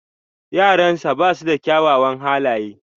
Yaransa ba su da kyawawan halaye.